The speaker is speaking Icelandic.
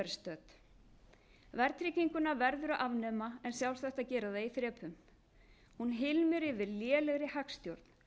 stödd verðtrygginguna verður að afnema en sjálfsagt að gera það í þrepum hún hylmir yfir lélegri hagstjórn